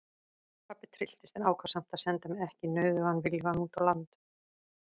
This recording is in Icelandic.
Pabbi trylltist en ákvað samt að senda mig ekki nauðugan viljugan úr landi.